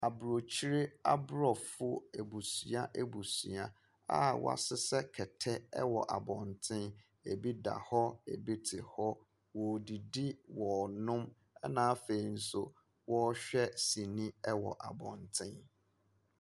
Aborɔkyire aborɔfo abusua abusua a wɔahyehyɛ kɛtɛ wɔ abɔnten, bi da hɔ, bi te hɔ, wɔredidi, wɔrenonom, na afei nso wɔɔrehwɛ sini wɔ abɔnten.